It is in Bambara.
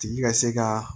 Tigi ka se ka